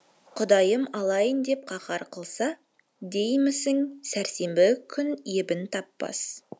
құдайым алайын деп қаһар қылса деймісің сәрсенбі күн ебін таппас